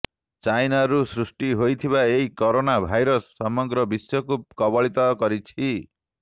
ଚାଇନାରୁ ସୃଷ୍ଟି ହୋଇଥିବା ଏହି କରୋନା ଭାଇରସ ସମଗ୍ର ବିଶ୍ୱକୁ କବଳିତ କରିଛି